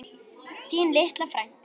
Þín litla frænka.